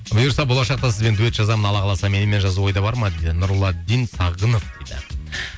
бұйырса болашақта сізбен дуэт жазамын алла қаласа менімен жазу ойда бар ма дейді нұрладдин сағынов дейді